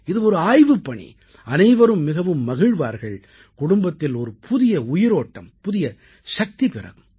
இது ஒரு ஆய்வுப்பணி அனைவரும் மிகவும் மகிழ்வார்கள் குடும்பத்தில் ஒரு புதிய உயிரோட்டம் புதிய சக்தி பிறக்கும்